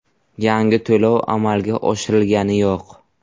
Yangi to‘lov amalga oshirilgani yo‘q.